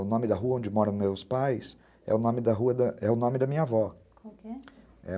O nome da rua onde moram meus pais é o nome da rua da, é o nome da minha avó. Como que é? é